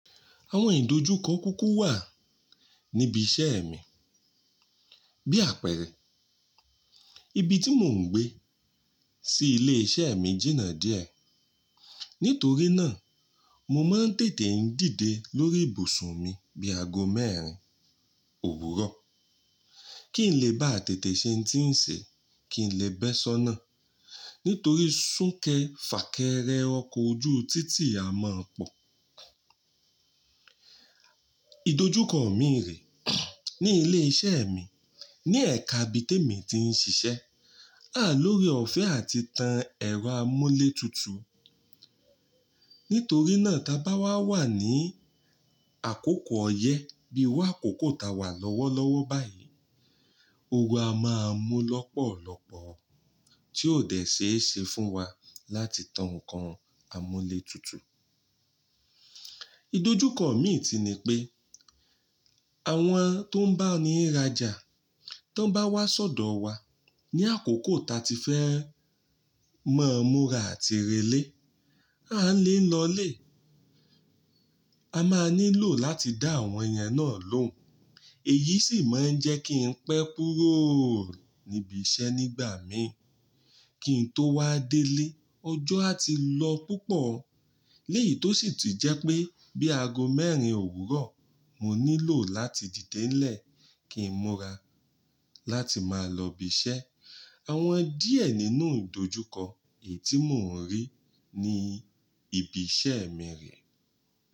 Àwọn ìdojúkọ kúkú wà níbi iṣẹ́ mi. Bí àpẹẹrẹ, ibi tí mò ń gbé sí ilé iṣẹ́ mi jìnnà díẹ̀. Nítorí náà, mo máa ń tètè ń dìde lórí ìbùsùn mi bí aago mẹ́rin òwúrọ̀. Kì í lè bá tètè ṣe ń tí ń ṣe, kì í lè bẹ́ sọ́nà. Nítorí súnkẹ fà kẹrẹ ọkọ̀ ojú títì a máa pọ̀. Ìdojúkọ mi rè ní ilé iṣẹ́ mi, ní ẹ̀ka ibi té mi ti ń ṣiṣẹ́, à o ní ooreọ̀fẹ́ àti tan ẹ̀rọ amúlé tutù. Nítorí náà, tí a bá wà wà ní àkókò ọyẹ́ bí i àkókò tí a wà lọ́wọ́lọ́wọ́ báyìí, oru a máa mú lọ́pọ̀lọ́pọ̀ tí ó dé ṣe é ṣe fún wa láti tan ǹkan amúlé tutù. Ìdojúkọ mi n tun ni pé àwọn tó ń bá ni rájà tó bá wá sọ́dọ̀ wa ní àkókò tí a ti fẹ́ ma múra àti relé, a lè lọlé. A máa nílò láti dá àwọn ènìyàn náà lóhùn. Èyí sì máa ń jẹ́ kí n pẹ́ kúrò níbi iṣẹ́ nígbà mi. Kí n tó wá délé, ọjọ́ á ti lọ púpọ̀. Léyìí tó sì ti jẹ́ pé bí aago mẹ́rin òwúrọ̀, mo nílò láti dìde nílẹ̀ kí n múra láti máa lọ ibi iṣẹ́. Àwọn díẹ̀ nínú ìdojúkọ èyí tí mò ń rí ní ibi iṣẹ́ mi rè.